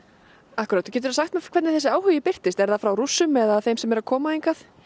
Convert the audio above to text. akkúrat geturðu sagt mér hvernig þessi áhugi birtist er það frá Rússum eða frá þeim sem eru að koma hingað